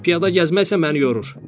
Piyada gəzməksə məni yorur.